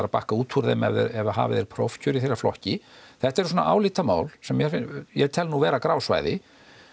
að bakka út úr þeim ef að hafið er prófkjör í þeirra flokki þetta eru svona álitamál sem ég tel nú vera grá svæði